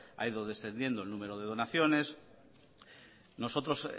ha ido descendiendo el número de donaciones nosotros